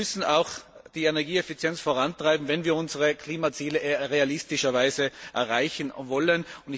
Wir müssen die Energieeffizienz vorantreiben, wenn wir unsere Klimaziele realistischerweise erreichen wollen.